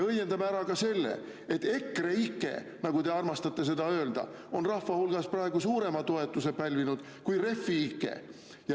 Õiendame ära ka selle, et EKREIKE, nagu te armastate öelda, on rahva hulgas praegu suurema toetuse pälvinud kui refi-ike.